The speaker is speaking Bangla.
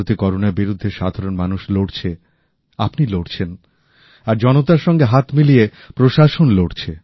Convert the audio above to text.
ভারতে করোনার বিরুদ্ধে সাধারণ মানুষ লড়ছে আপনি লড়ছেন আর জনতার সঙ্গে হাত মিলিয়ে প্রশাসন লড়ছে